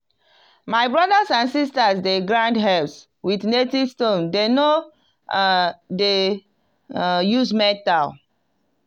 my brothers and sisters dey grind herbs with native stone dem no um dey um use metal.